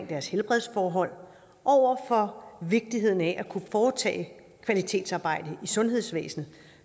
deres helbredsforhold over for vigtigheden af at kunne foretage kvalitetsarbejde i sundhedsvæsenet